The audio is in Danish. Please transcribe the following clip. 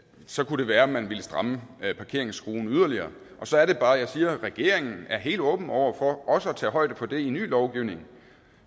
så kunne være at man ville stramme parkeringsskruen yderligere og så er det bare jeg siger regeringen er helt åben over for også at tage højde for det i ny lovgivning